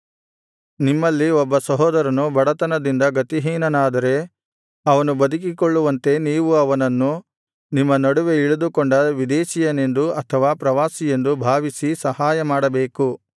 ನಿಮ್ಮಲ್ಲಿ ಒಬ್ಬ ಸಹೋದರನು ಬಡತನದಿಂದ ಗತಿಹೀನನಾದರೆ ಅವನು ಬದುಕಿಕೊಳ್ಳುವಂತೆ ನೀವು ಅವನನ್ನು ನಿಮ್ಮ ನಡುವೆ ಇಳಿದುಕೊಂಡ ವಿದೇಶೀಯನೆಂದು ಅಥವಾ ಪ್ರವಾಸಿಯೆಂದು ಭಾವಿಸಿ ಸಹಾಯಮಾಡಬೇಕು